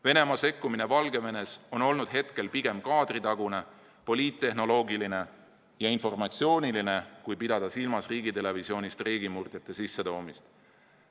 Venemaa sekkumine Valgevenes on seni olnud pigem kaadritagune, poliittehnoloogiline ja informatsiooniline, kui pidada silmas riigitelevisioonis streigimurdjate sissetoomist.